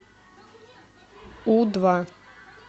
у два